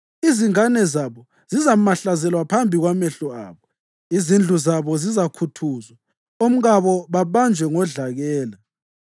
Izingane zabo zizamahlazelwa phambi kwamehlo abo; izindlu zabo zizakhuthuzwa, omkabo babanjwe ngodlakela.